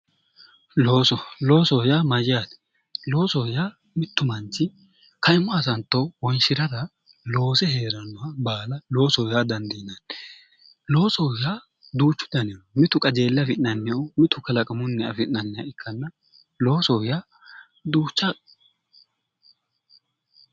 Looso, loosoho yaa mayyaate? Loosoho yaa mittu manchi kaimu hasatto wonshirara loose heerannoha baala loosoho yaa dandiinanni, loosoho yaa duuchu danihu no mitu qajeelle afi'nanniho mitu kalaqamunni agi'nanniha ikkanna loosoho yaa duuchu.